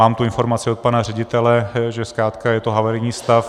Mám tu informaci od pana ředitele, že zkrátka je to havarijní stav.